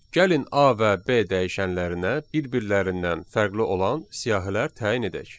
Gəlin A və B dəyişənlərinə bir-birlərindən fərqli olan siyahilər təyin edək.